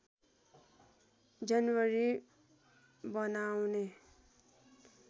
जनवरी बनाउने